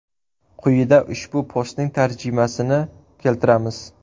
Quyida ushbu postning tarjimasini keltiramiz.